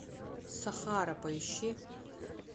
сахара поищи